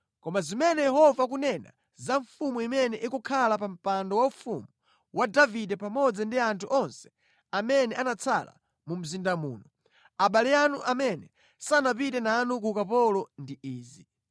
koma zimene Yehova akunena za mfumu imene ikukhala pa mpando waufumu wa Davide pamodzi ndi anthu onse amene anatsala mu mzinda muno, abale anu amene sanapite nanu ku ukapolo ndi izi,